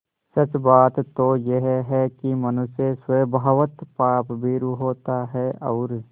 सच बात तो यह है कि मनुष्य स्वभावतः पापभीरु होता है और